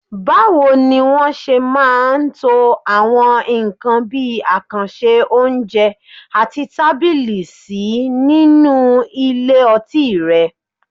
Báwo ni wọ́n ṣe máa ń to àwọn nǹkan bí àkànṣe oúnjẹ àti tábìlì sí nínú ilé ọtí rẹ?